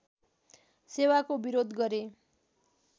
सेवाको विरोध गरे